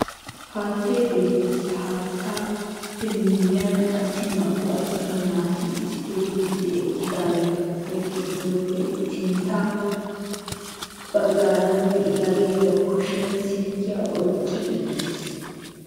Haattay beettees ha haattappe miyyiyan qassi naa"u attuma naati issippe gididi eqqidaageetu gidoppe sintta baggaara de'iyagee ba kushiyan silkiya oyqqi uttiis.